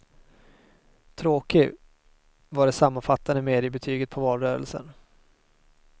Tråkig, var det sammanfattande mediebetyget på valrörelsen.